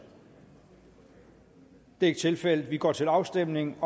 det er ikke tilfældet og vi går til afstemning